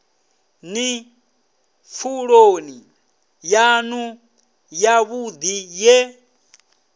ni pfuloni yanu yavhudi ye